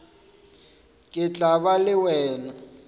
ke tla ba le wena